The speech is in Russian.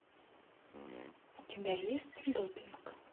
у тебя есть допинг